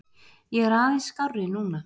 Ég er aðeins skárri núna.